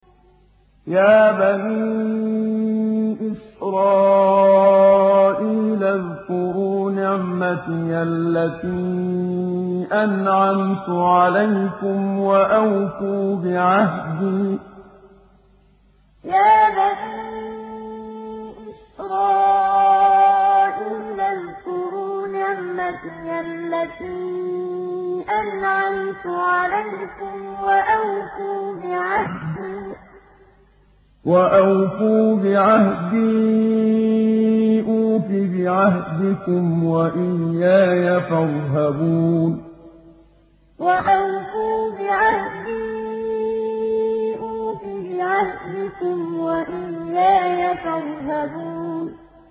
يَا بَنِي إِسْرَائِيلَ اذْكُرُوا نِعْمَتِيَ الَّتِي أَنْعَمْتُ عَلَيْكُمْ وَأَوْفُوا بِعَهْدِي أُوفِ بِعَهْدِكُمْ وَإِيَّايَ فَارْهَبُونِ يَا بَنِي إِسْرَائِيلَ اذْكُرُوا نِعْمَتِيَ الَّتِي أَنْعَمْتُ عَلَيْكُمْ وَأَوْفُوا بِعَهْدِي أُوفِ بِعَهْدِكُمْ وَإِيَّايَ فَارْهَبُونِ